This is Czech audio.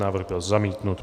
Návrh byl zamítnut.